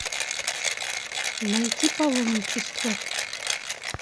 найти паломничество